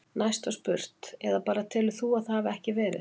Næst var spurt: Eða bara telur þú að það hafi ekki verið?